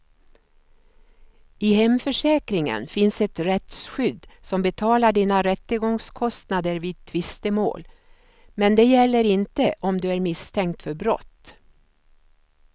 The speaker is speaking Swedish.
I hemförsäkringen finns ett rättsskydd som betalar dina rättegångskostnader vid tvistemål, men det gäller inte om du är misstänkt för brott.